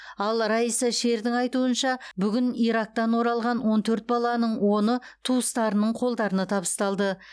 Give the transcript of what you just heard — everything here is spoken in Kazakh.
ал райса шердің айтуынша бүгін ирактан оралған он төрт баланың оны туыстарының қолдарына табысталды